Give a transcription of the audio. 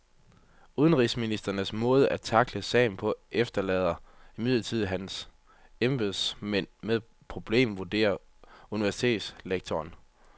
Udenrigsministerens måde at tackle sagen på efterlader imidlertid hans embedsmænd med et problem, vurderer universitetslektoren.